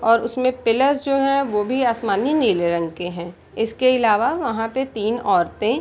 और उसमें पीलर्स जो हैं वो भी आसमानी नीले रंग के हैं इसके इलावा वहाँ पे तीन औरतें --